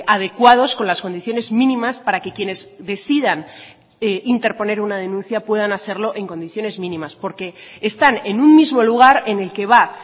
adecuados con las condiciones mínimas para que quienes decidan interponer una denuncia puedan hacerlo en condiciones mínimas porque están en un mismo lugar en el que va